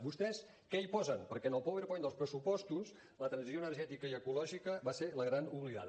vostès què hi posen perquè en el powerpoint dels pressupostos la transició energètica i ecològica va ser la gran oblidada